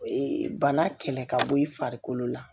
Ee bana kɛlɛ ka bɔ i farikolo la